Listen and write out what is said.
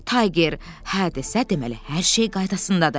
Tayger hə desə, deməli hər şey qaydasındadır.